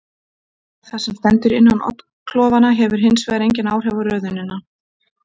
Það sem stendur innan oddklofanna hefur hins vegar engin áhrif á röðunina.